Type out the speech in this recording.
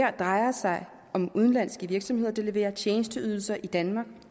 her drejer sig om udenlandske virksomheder der leverer tjenesteydelser i danmark